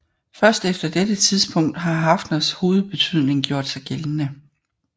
Først efter dette tidspunkt har Haffners hovedbetydning gjort sig gældende